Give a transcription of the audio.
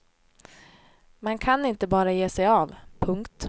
Man kan inte bara ge sig av. punkt